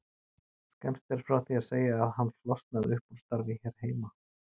Skemmst er frá því að segja að hann flosnaði upp úr starfi hér heima.